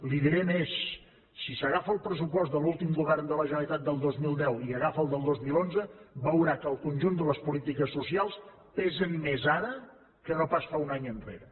li diré més si agafa el pressupost de l’últim govern de la generalitat del dos mil deu i agafa el del dos mil onze veurà que el conjunt de les polítiques socials pesen més ara que no pas fa un any enrere